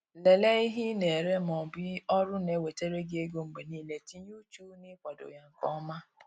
Lelee ihe ị na-ere ma ọ bụ ọrụ na-ewetara gi ego mgbe niile, tinye uchu na-ikwado ya nke ọma